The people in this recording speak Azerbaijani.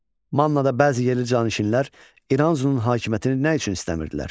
Mannada bəzi yerli canişinlər İranzunun hakimiyyətini nə üçün istəmirdilər?